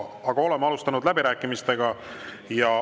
Aga oleme alustanud läbirääkimisi.